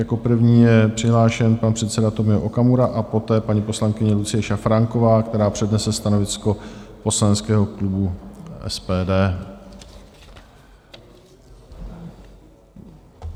Jako první je přihlášen pan předseda Tomio Okamura a poté paní poslankyně Lucie Šafránková, která přednese stanovisko poslaneckého klubu SPD.